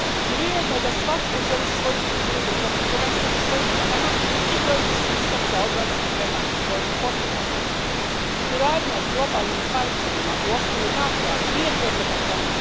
Prirodno je da svatko želi svoju sudbinu držati prvenstveno u svojim rukama i krojiti sustav za obranu prema svojim potrebama. Suradnja s globalnim partnerima u okviru NATO a nije prepreka tome.